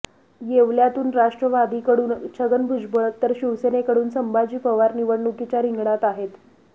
येवल्यातून राष्ट्रवादीकडून छगन भुजबळ तर शिवसेनेकडून संभाजी पवार निवडणुकीच्या रिंगणात आहेत